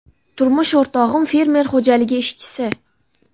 Turmush o‘rtog‘im fermer xo‘jaligi ishchisi.